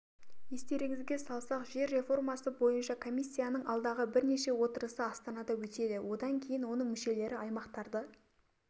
естеріңізге салсақ жер реформасы бойынша комиссияның алдағы бірнеше отырысы астанада өтеді одан кейін оның мүшелері аймақтарды